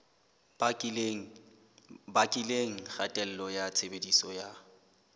bakileng kgatello ya tshebediso ya